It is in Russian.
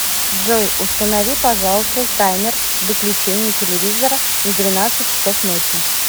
джой установи пожалуйста таймер выключения телевизора на двенадцать часов ночи